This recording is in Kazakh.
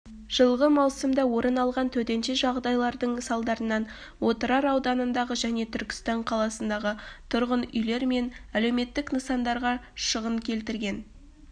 жылғы маусымда орын алған төтенше жағдайлардың салдарынан отырар ауданындағы және түркістан қаласындағы тұрғын үйлер мен әлеуметтік нысандарға шығын келтірілген